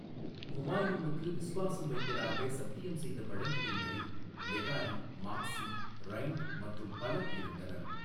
ஹுமாயூனுக்கு விசுவாசம் வைப்பதாக சத்தியம் செய்த பழங்குடியினரில் லெகாரி, மாக்ஸி, ரைண்ட் மற்றும் பலர் இருந்தனர்.